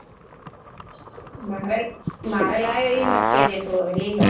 મારે લાયો એ મત કેજે તું હવે લઇ લો